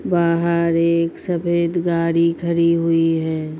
बाहर एक सफ़ेद गाड़ी खड़ी हुई है।